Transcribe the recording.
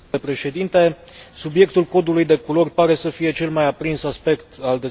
Subiectul codului de culori pare să fie cel mai aprins aspect al dezbaterii de astăzi.